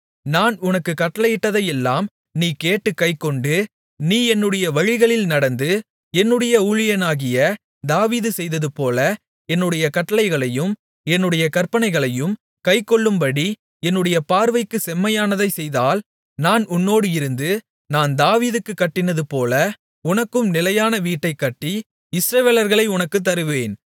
நான் உனக்குக் கட்டளையிட்டதையெல்லாம் நீ கேட்டுக் கைக்கொண்டு நீ என்னுடைய வழிகளில் நடந்து என்னுடைய ஊழியனாகிய தாவீது செய்ததுபோல என்னுடைய கட்டளைகளையும் என்னுடைய கற்பனைகளையும் கைக்கொள்ளும்படி என்னுடைய பார்வைக்குச் செம்மையானதைச் செய்தால் நான் உன்னோடு இருந்து நான் தாவீதுக்குக் கட்டினதுபோல உனக்கும் நிலையான வீட்டைக் கட்டி இஸ்ரவேலர்களை உனக்குத் தருவேன்